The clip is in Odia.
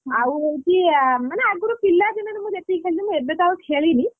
ଆଉ ହଉଛି ମାନେ ଆଗରୁ ପିଲା ଦିନରେ ମୁଁ ଯେତିକି ଖେଳିଥିଲି ଏବେ ତ ଆଉ ଖେଳିନି।